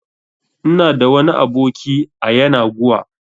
Ina da wani aboki a yanaguwa